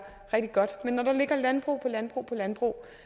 rigtig godt men når der ligger landbrug på landbrug på landbrug